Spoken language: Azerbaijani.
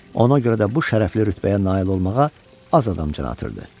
Ona görə də bu şərəfli rütbəyə nail olmağa az adam can atırdı.